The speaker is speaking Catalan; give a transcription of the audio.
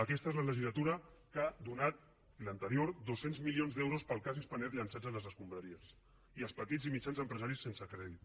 aquesta és la legislatura que ha donat i l’anterior doscientos milions d’euros per al cas spanair llençats a les escombraries i els petits i mitjans empresaris sense crèdit